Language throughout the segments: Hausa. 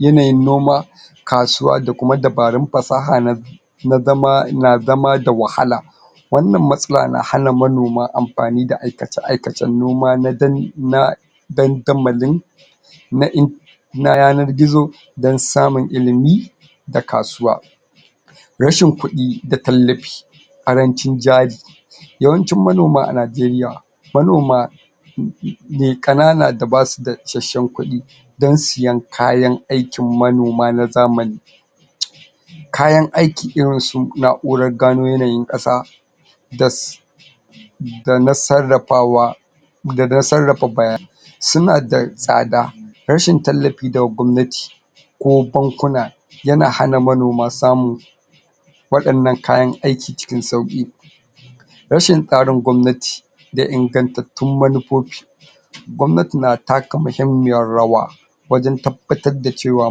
yanayin noma kasuwa da kuma dabarun fasaha na na zama na za ma da wahala wannan matsala na manoma amfani da aikace-aikacen noma na... dandamalin na in na yanar gizo don samun ilimi a kasuwa rashin kuɗi da tallafi ƙarancin jari yawancin manoma a Najeriya manoma mai ƙanana da ba su da isasshen kuɗi don siyan kayan aikin manoma na zamani kayan aikin irin su na'urar gano yanayin ƙasa das.... da na sarrafawa da na sarrafa baya... su na da tsada rashin tallafi daga gwamnati ko bankuna yana hana manoma samu waɗannan kayan aiki cikin sauƙi rashin tsarin gwamnati da ingantattun manufofi gwamnati na taka muhimmiyar rawa wajen tabbatar da cewa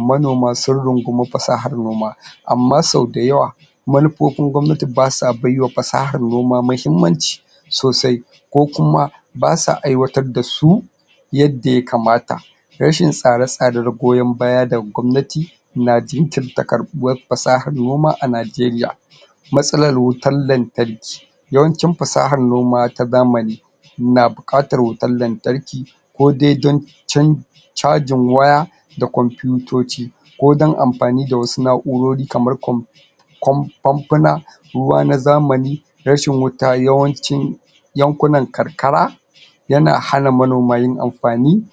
manoma sun rungumi fasahar noma amma sau da yawa manufofin gwamnati ba sa bai wa fasahar noma mahimmanci sosai ko kuma ba sa aiwatar da su yadda ya kamata rashin tsare-tsare da goyon-baya daga gwamnati na jinkirta karɓuwar fasahar noma a Najeriya matsalar wutar lantarki yawancin fasahar noma ta zamani na buƙatar wutar lantarki ko de don chan... chajin waya da kwamfitoci ko don amfani wasu na'urori kamar kwamfi... kwam famfuna ruwa na zamani rashin wuta yawancin yankunan karkara yana manoma yin amfani